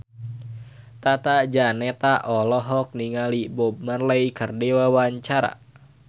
Tata Janeta olohok ningali Bob Marley keur diwawancara